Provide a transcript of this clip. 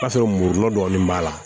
K'a sɔrɔ muru dɔ b'a la